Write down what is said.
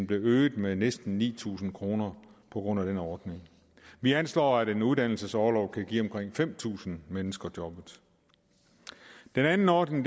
blev øget med næsten ni tusind på grund af den ordning vi anslår at en uddannelsesorlov kan give omkring fem tusind mennesker job den anden ordning